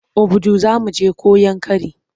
Obudu za mu je ko Yankari?